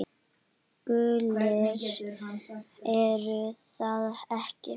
Gulir er það ekki?